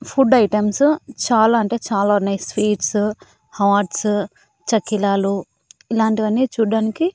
food items చాలా అంటే చాలా ఉన్నాయి స్వీట్సు హాట్సు చకిలాలు ఇలాంటివన్నీ చూడ్డానికి--